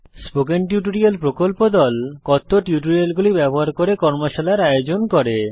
spoken tutorial প্রকল্প দল কথ্য টিউটোরিয়াল গুলি ব্যবহার করে কর্মশালার আয়োজন করে